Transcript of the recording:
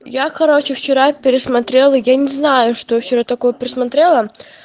я короче вчера пересмотрела я не знаю что вчера такое присмотрела